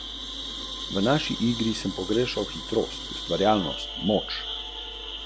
Kot piše Ansa, v Italijo vsako leto prispe več deset tisočev priseljencev iz severne Afrike.